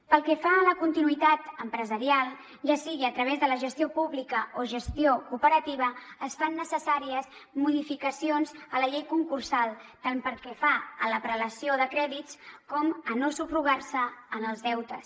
pel que fa a la continuïtat empresarial ja sigui a través de la gestió pública o gestió operativa es fan necessàries modificacions a la llei concursal tant pel que fa a la prelació de crèdits com a no subrogar se en els deutes